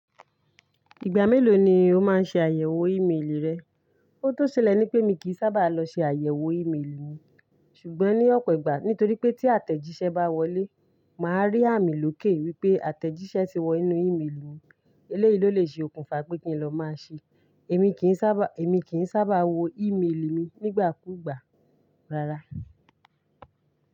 Ìgbà mélòó ni o máa ń ṣe àyẹ̀wò ìmeèlì rẹ? Óhun tó ṣílẹ̀ ní pé mi kì í sábà lọ ṣe àyẹ̀wò ìmeèlì mi, ṣùgbọ́n ní ọ̀pọ̀ ìgbà nítorí pé tí àtẹ̀jíṣẹ́ bá wọlé, màá rí àmì lóké wípé àtẹ̀jíṣẹ́ ti wọ inú ìmeèlì mi. Eléyìí ló lè ṣe okùnfà pé kí n lọ máa ṣe. Èmi kì n sábà, èmi kì n sábà wo ìmeèlì mi nígbà kú ìgbà rárá.